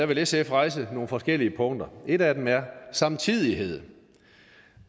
vil sf rejse nogle forskellige punkter et af dem er samtidighed